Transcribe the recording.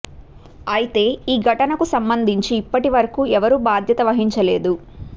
అయితే ఈ ఘటనకు సంబంధించి ఇప్పటి వరకు ఎవరూ బాధ్యత వహించలేదు